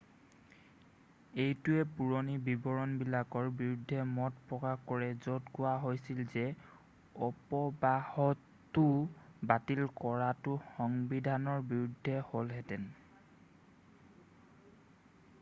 এইটোৱে পুৰণি বিবৰণবিলাকৰ বিৰুদ্ধে মত প্ৰকাশ কৰে য'ত কোৱা হৈছিল যে অপবাহতো বাতিল কৰাটো সংবিধানৰ বিৰুদ্ধে হ'লহেঁতেন